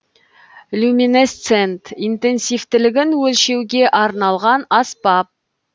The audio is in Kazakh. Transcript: люминесцент интенсивтілігін өлшеуге арналған аспап